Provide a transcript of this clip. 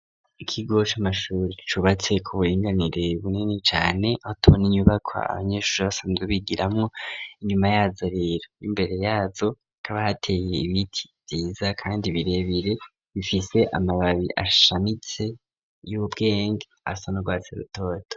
Ikigo c'amashuri cubatse k'uburinganire bunini cane, aho tubona inyubakwa abanyeshuri basanzwe bigiramwo. Inyuma yazo rero n'imbere yazo, hakaba hateye ibiti vyiza kandi birebere bifise amababi ashamitse y'ubwenge asa n'urwatsi rutoto.